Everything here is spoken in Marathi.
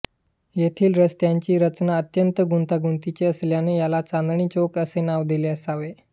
येथील रस्त्यांची रचना अत्यंत गुंतागुंतीची असल्याने याला चांदणी चौक असे नाव दिले असावे